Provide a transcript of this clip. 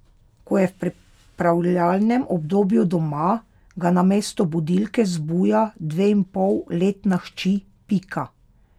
Ko je v pripravljalnem obdobju doma, ga namesto budilke zbuja dveinpolletna hči Pika.